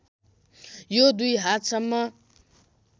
यो दुई हातसम्म